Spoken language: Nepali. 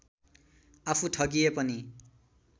आफू ठगिए पनि